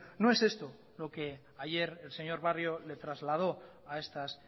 no es esto lo que ayer el señor barrio le trasladó a estas